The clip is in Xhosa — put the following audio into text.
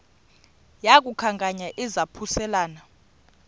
yaku khankanya izaphuselana